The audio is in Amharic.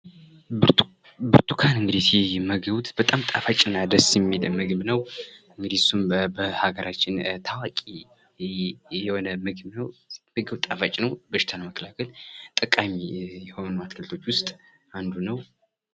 ብርቱካን:- ብርቱካን ሲመገቡት በጣም ደስ የሚል እና ጣፋጭ ነዉ። እንግዲህ እሱም በአገራችን ታዋቂ የሆነ ምግብ ነዉ። ጣፋጭ ነዉ በሽታን ለመከላከል ጠቃሚ ከሆኑ አትክልቶች ዉስጥ አንዱ ነዉ።